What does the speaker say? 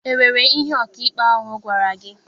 E nwere ihe ọkaikpe ahụ gwara gị?